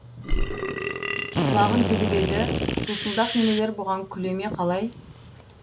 құлағын тігіп еді сусылдақ немелер бұған күле ме қалай